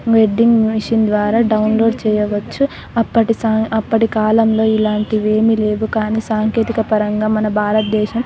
wedding mission ద్వారా download చేయవచ్చు అప్పటి స అప్పటి కాలంలో ఇలాంటి ఏమి లేవు కాని సాంకేతిక పరంగా మన భారతదేశం --